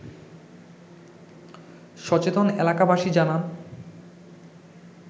সচেতন এলাবাসী জানান